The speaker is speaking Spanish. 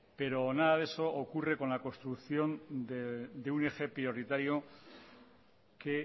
pero nada de eso ocurre con la construcción de un eje prioritario que